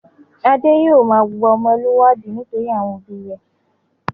Adé yóò máa wùwà ọmọlúwàbí nítorí àwọn òbí rẹ̀.